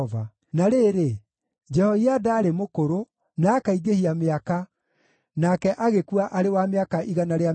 Na rĩrĩ, Jehoiada aarĩ mũkũrũ, na akaingĩhia mĩaka, nake agĩkua arĩ wa mĩaka 130.